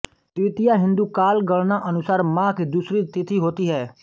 द्वितीया हिन्दू काल गणना अनुसार माह की दूसरी तिथि होती है